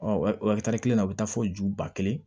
kelen na o bɛ taa fɔ ju ba kelen